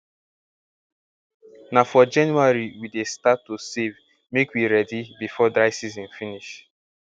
na for january we dey start to save make we ready before dry season finish